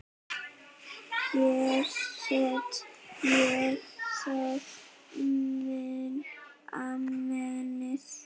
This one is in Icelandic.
Hér set ég þá Amenið.